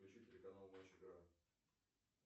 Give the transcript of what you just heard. включи телеканал матч игра